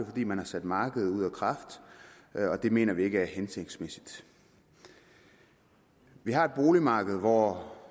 fordi man har sat markedet ud af kraft og det mener vi ikke er hensigtsmæssigt vi har et boligmarked hvor